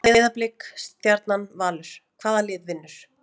Breiðablik, Stjarnan, Valur- hvaða lið vinnur?